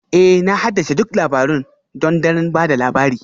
Ee Na haddace duk labarun th don daren ba da labari